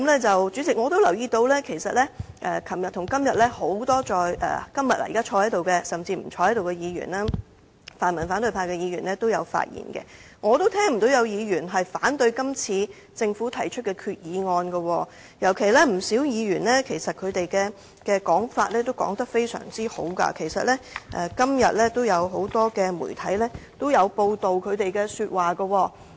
主席，我也留意到昨天和今天很多在席甚至現時不在席的議員，包括泛民反對派議員也有發言，而我也聽不到有議員反對政府提出的這項決議案，而且不少議員的意見都十分正面，今天不少媒體也有報道他們的發言。